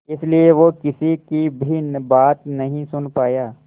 इसलिए वो किसी की भी बात नहीं सुन पाया